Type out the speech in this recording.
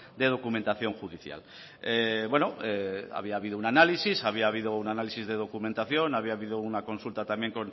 de documentación judicial bueno había habido un análisis había habido un análisis de documentación había habido una consulta también